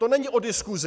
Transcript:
To není o diskusi.